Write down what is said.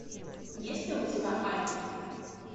есть ли у тебя альф